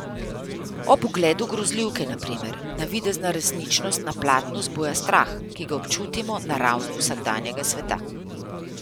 Ob ogledu grozljivke na primer, navidezna resničnost na platnu zbuja strah, ki ga občutimo na ravni vsakdanjega sveta.